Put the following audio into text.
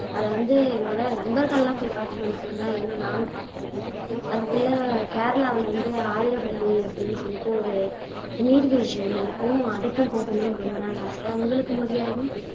அதை வந்து என்னோட நண்பர்கள் எல்லாம் போய் பார்த்துட்டு வந்துட்டாங்க இன்னும் நானும் பார்க்க போகலை அதுக்குள்ள கேரளாவுல வந்து ஆதிராப்பள்ளி அப்படின்னு சொல்லிட்டு ஒரு நீர்வீழ்ச்சி ஒண்ணு இருக்கும் அதுக்கும் போகணும்ன்னு ரொம்ப நாள் ஆசை உங்களுக்கு மொழியாழினி